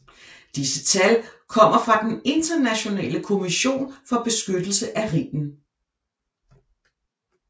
Disse tal kommer fra den Internationale Kommission for beskyttelse af Rhinen